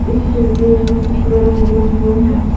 इस तस्वीर मे पुतले रंग बिरंगा है।